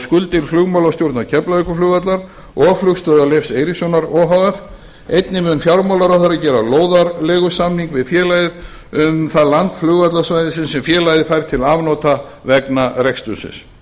skuldir flugmálastjórnar keflavíkurflugvallar og flugstöðvar leifs eiríkssonar o h f einnig mun fjármálaráðherra gera lóðarleigusamning við félagið um það land flugvallarsvæðisins sem félagið fær til afnota vegna rekstursins félaginu